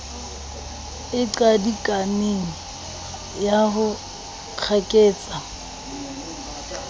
e qadikaneng ya ho kgaketsa